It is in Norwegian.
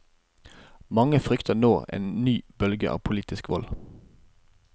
Mange frykter nå en ny bølge av politisk vold.